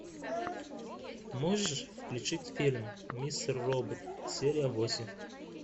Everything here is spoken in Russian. можешь включить фильм мистер робот серия восемь